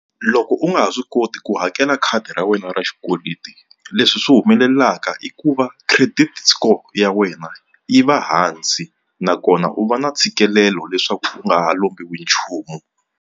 Loko u nga ha swi koti ku hakela khadi ra wena ra xikweleti leswi swi humelelaka i ku va credit score ya wena yi va hansi nakona u va na ntshikelelo leswaku u nga ha lombiwi nchumu.